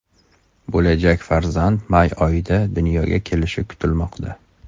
Bo‘lajak farzand may oyida dunyoga kelishi kutilmoqda.